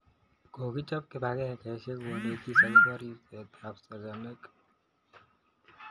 Kokichop kipangeisyek konetis akopo ripset ap sagamik